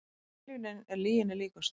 Tilviljunin er lyginni líkust